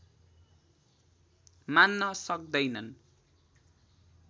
मान्न सक्दैनन्